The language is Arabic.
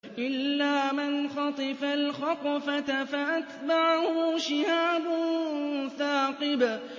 إِلَّا مَنْ خَطِفَ الْخَطْفَةَ فَأَتْبَعَهُ شِهَابٌ ثَاقِبٌ